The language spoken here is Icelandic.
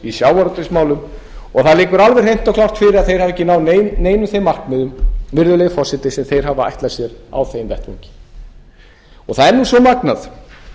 í sjávarútvegsmálum og það liggur alveg hreint og klárt fyrir að þeir hafa ekki náð neinum þeim markmiðum virðulegi forseti sem þeir hafa ætlað sér á þeim vettvangi það er nú svo magnað